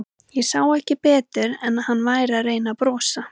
Ég sá ekki betur en að hann væri að reyna að brosa.